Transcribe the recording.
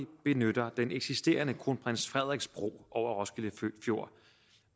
benytter den eksisterende kronprins frederiks bro over roskilde fjord